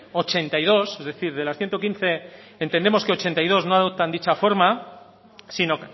ochenta y dos es decir de las ciento quince entendemos que ochenta y dos no adoptan dicha forma sino